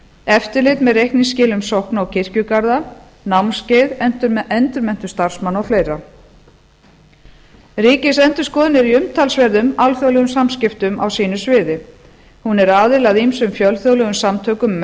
eftirlit með reikningsskilum sókna og kirkjugarða námskeið endurmenntun starfsmanna og fleiri ríkisendurskoðun er í umtalsverðum alþjóðlegum samskiptum á sínu sviði hún er aðili að ýmsum fjölþjóðlegum samtökum um